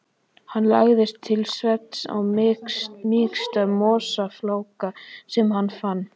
Hann lagðist til svefns á mýksta mosafláka sem hann fann.